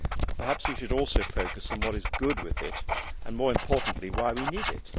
Perhaps we should also focus on what is good about it and, more importantly, why we need it.